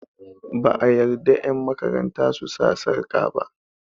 ba a yarda yanmakaranta su sa sarƙa ba